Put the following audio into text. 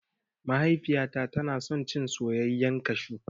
Mahaifiyata tana son cin soyayyan kashu